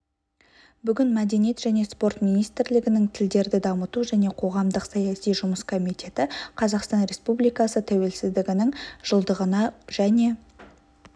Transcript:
бүгін мәдениет және спорт министрлігінің тілдерді дамыту және қоғамдық-саяси жұмыс комитеті қазақстан республикасы тәуелсіздігінің жылдығына және